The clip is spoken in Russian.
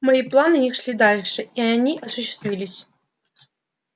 мои планы не шли дальше и они осуществились